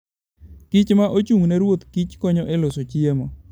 kich ma ochung' ne ruodh kich konyo e loso chiemo.